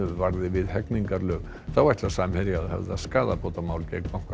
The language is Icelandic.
varði við hegningarlög þá ætlar Samherji að höfða skaðabótamál gegn bankanum